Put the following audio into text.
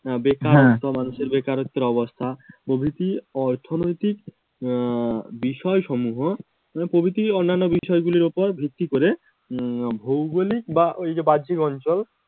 বেকার বেকারত্বের অবস্থা প্রভৃতি অর্থনৈতিক আহ বিষয় সমূহ, প্রভৃতি অন্যান্য বিষয়গুলির উপর ভিত্তি করে উম ভৌগলিক বা ওই যে বাহ্যিক অঞ্চল